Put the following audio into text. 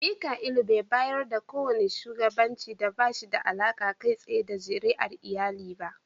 Mika'ilu bai yarda da kowane shugabanci da ba shi da alaƙa kai tsaye da zuriyar iyali ba.